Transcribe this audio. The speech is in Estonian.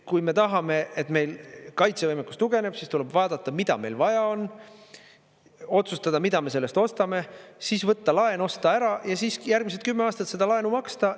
Kui me tahame, et meil kaitsevõimekus tugevneb, siis tuleb vaadata, mida meil vaja on, otsustada, mida me sellest ostame, siis võtta laen, osta ära, ja siis järgmised kümme aastat seda laenu maksta.